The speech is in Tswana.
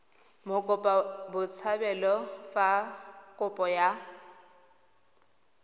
mokopa botshabelo fa kopo ya